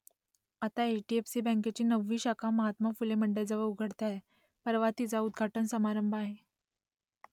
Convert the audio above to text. आता H D F C बँकेची नववी शाखा महात्मा फुले मंडईजवळ उघडते आहे परवा तिचा उद्घाटन समारंभ आहे